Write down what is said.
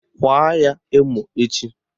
Kwaa ya emo echi!